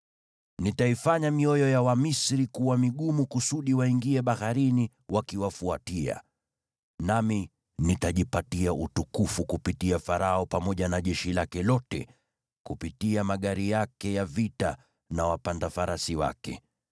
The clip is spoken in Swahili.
Nitaifanya mioyo ya Wamisri kuwa migumu kusudi waingie baharini wakiwafuatia. Nami nitajipatia utukufu kupitia Farao pamoja na jeshi lake lote, kupitia magari yake ya vita na wapanda farasi wake.